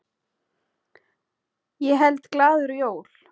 Ég held glaður jól.